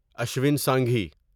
Ashwin Singhi